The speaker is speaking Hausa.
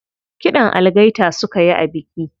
Kiɗan algaita suka yi a biki.